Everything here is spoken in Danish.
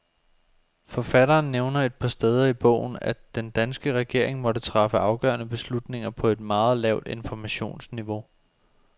Forfatteren nævner et par steder i bogen, at den danske regering måtte træffe afgørende beslutninger på et meget lavt informationsniveau.